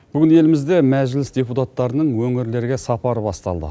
бүгін елімізде мәжіліс депутаттарының өңірлерге сапары басталды